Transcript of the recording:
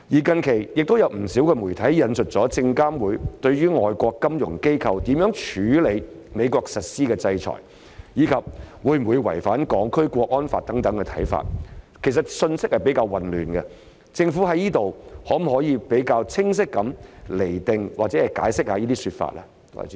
近期，亦有不少媒體引述證券及期貨事務監察委員會對於外國金融機構如何處理美國實施的制裁，以及會否違反《香港國安法》等的看法，有關信息比較混亂，政府可否比較清晰地釐定或解釋這些說法？